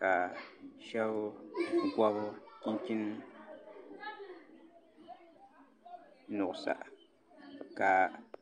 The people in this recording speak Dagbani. ka shab gobi chinchin nuɣsa ka